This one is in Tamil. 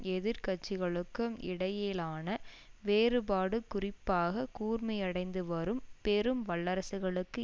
எதிர் கட்சிகளுக்கும் இடையிலான வேறுபாடு குறிப்பாக கூர்மையடைந்து வரும் பெரும் வல்லரசுகளுக்கு